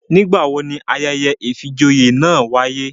Nigbawo ni ayẹyẹ ìfijoyé náa waye?